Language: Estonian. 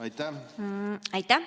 Aitäh!